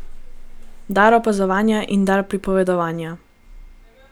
Dar opazovanja in dar pripovedovanja.